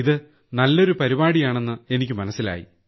ഇത് നല്ലൊരു പരിപാടിയാണെന്ന് എനിക്ക് മനസ്സിലായി